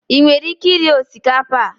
I nwere ike iri osikapa a?